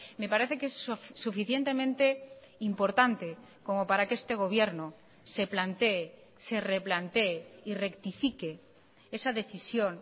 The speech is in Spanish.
me parece que es suficientemente importante como para que este gobierno se plantee se replantee y rectifique esa decisión